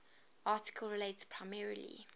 article relates primarily